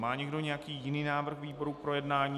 Má někdo nějaký jiný návrh výboru k projednání?